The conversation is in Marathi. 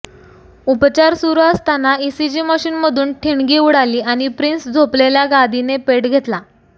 उपचार सुरू असताना ईसीजी मशीनमधून ठिणगी उडाली आणि प्रिन्स झोपलेल्या गादीने पेट घेतला